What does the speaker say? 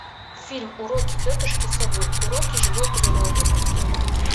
фильм уроки тетушки совы уроки живой природы открой мне